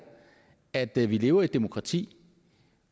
at da vi lever i et demokrati